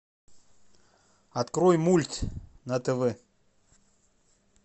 открой мульт на тв